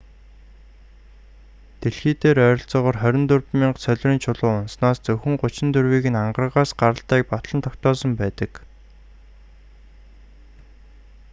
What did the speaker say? дэлхий дээр ойролцоогоор 24,000 солирын чулуу унаснаас зөвхөн 34-ийг нь ангаргаас гаралтайг батлан тогтоосон байдаг